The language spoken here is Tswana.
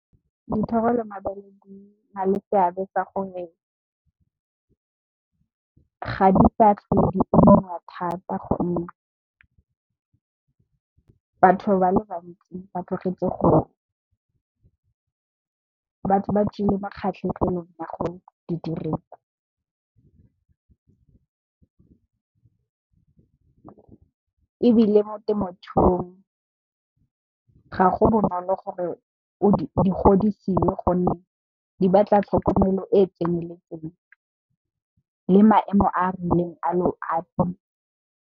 Dithoro le mabele di na le seabe ka gore ga di sa tlhole di bonwa thata ka gonne, batho ba le bantsi ba tlogetse go di dirisa. Ebile mo temothuong ga go bonolo gore di godisiwe gonne di batla tlhokomelo e e tseneletseng le maemo a a rileng a lorato.